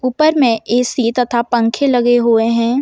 ऊपर में ए_सी तथा पंखे लगे हुए हैं।